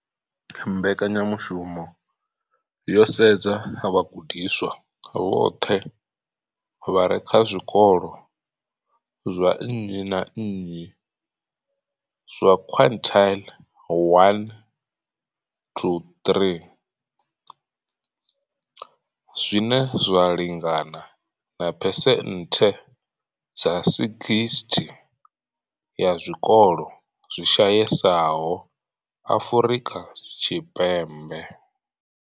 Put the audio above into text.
Mbekanyamushumo yo sedza vhagudiswa vhoṱhe vha re kha zwikolo zwa nnyi na nnyi zwa quintile 1-3, zwine zwa lingana na phesenthe dza 60 ya zwikolo zwi shayesaho Afrika Tshipembe.